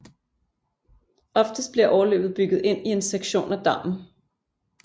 Oftest bliver overløbet bygget ind i en sektion af dammen